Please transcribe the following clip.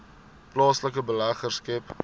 plaaslike beleggers skep